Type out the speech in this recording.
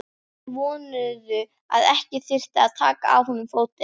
Menn vonuðu að ekki þyrfti að taka af honum fótinn.